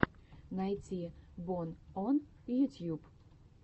найти бон он ютьюб